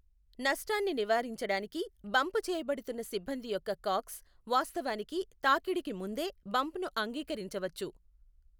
నష్టాన్ని నివారించడానికి, బంప్ చేయబడుతున్న సిబ్బంది యొక్క కాక్స్ వాస్తవానికి తాకిడికి ముందే బంప్ ను అంగీకరించవచ్చు.